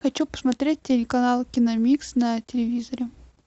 хочу посмотреть телеканал киномикс на телевизоре